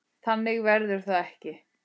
Þannig verður það ekki.